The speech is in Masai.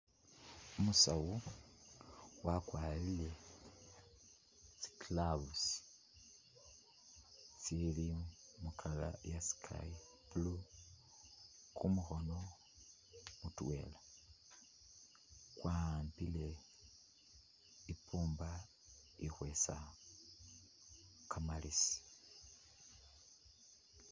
Umusawu wakwarire tsi gloves tsili mu colour iya sky blue, kumukhono mutwela wahambile i'puumba ikhweesa kamalesi.